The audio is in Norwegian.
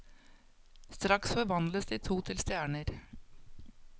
Straks forvandles de til to stjerner.